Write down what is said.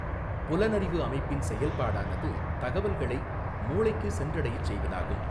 புலனறிவு அமைப்பின் செயல்பாடானது தகவல்களை மூளைக்குச் சென்றடையச் செய்வதாகும்.